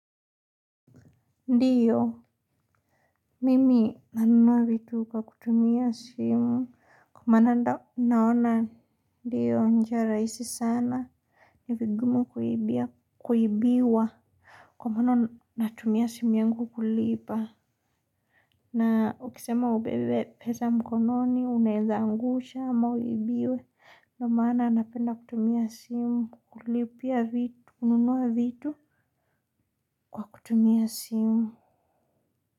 Ndiyo mimi nanunua vitu kwa kutumia simu kwa maana ndo naona ndiyo njia rahisi sana ni vigumu kuibia kuibiwa kwa maana natumia simu yangu kulipa na ukisema ubebe pesa mkononi unaweza angusha ama uibiwe ndo maana napenda kutumia simu kulipia vitu kununua vitu kwa kutumia simu.